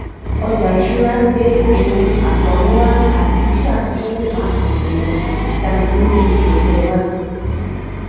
ọjà ìṣúra gbé ewu àtọrunwá àti iṣẹ àtijọ lè má pan dandan dánilójú esi ọjọ iwájú